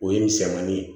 O ye misɛnmanin ye